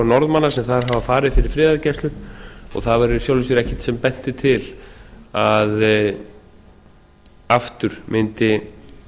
norðmanna sem þar hafa farið fyrir friðargæslu og það var í sjálfu sér ekkert sem benti til að aftur mundi